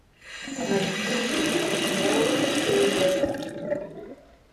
найти новый триллер